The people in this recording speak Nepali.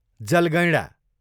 जलगैँडा